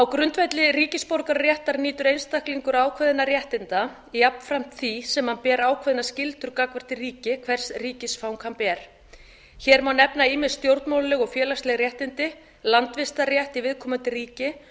grundvelli ríkisborgararéttar nýtur einstaklingur ákveðinna réttinda jafnframt því sem hann ber ákveðnar skyldur gagnvart því ríki hvers ríkisfang hann ber hér má nefna ýmis stjórnmálaleg og félagsleg réttindi landvistarrétt í viðkomandi ríki